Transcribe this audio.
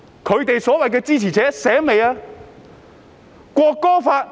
反對派所謂的支持者清醒了嗎？